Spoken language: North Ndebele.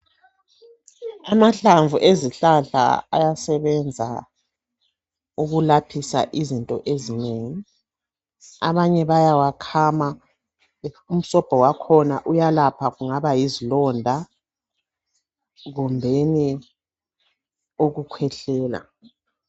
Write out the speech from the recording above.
Amahlamvu ezihlala ayasebenza ukulaphida izinto ezinengi abanye bayawakhama umsobho wakhona uyelapha kungaba yizilonda kumbe ukukhwehlela.